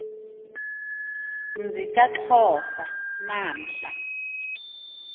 mzi kaxhosa namhla